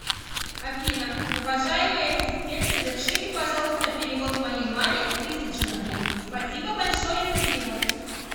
афина уважаемый ассистент совершите пожалуйста перевод моей маме тысячу рублей спасибо большое за перевод